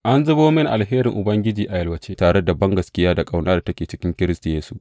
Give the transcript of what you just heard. An zubo mini alherin Ubangijinmu a yalwace, tare da bangaskiya da ƙaunar da take cikin Kiristi Yesu.